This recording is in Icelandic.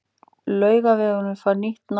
Laugavegurinn fær nýtt nafn